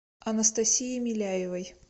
анастасией миляевой